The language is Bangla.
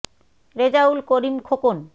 রে জা উ ল ক রি ম খো ক ন